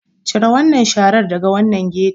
Cire wannan sharar daga wannan ghetto.